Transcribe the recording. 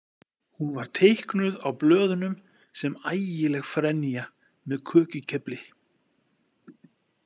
Hún var teiknuð á blöðunum sem ægileg frenja með kökukefli.